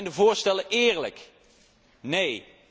Zijn de voorstellen eerlijk? Nee!